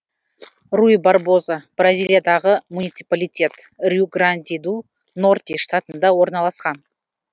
руй барбоза бразилиядағы муниципалитет риу гранди ду норти штатында орналасқан